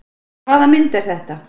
En hvaða mynd er þetta?